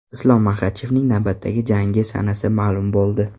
Islom Maxachevning navbatdagi jangi sanasi ma’lum bo‘ldi.